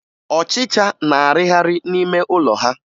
Ọchịcha na-arịgharị n'ime ụlọ ha